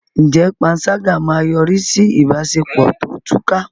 Ǹjẹ́ panṣágà máa yọrí sí ìbáṣepọ̀ tó túká?